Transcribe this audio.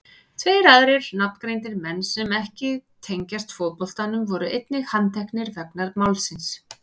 Tveir aðrir nafngreindir menn sem ekki tengjast fótboltanum voru einnig handteknir vegna málsins.